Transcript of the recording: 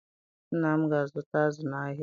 Nna m ga-azụta azụ n'ahịa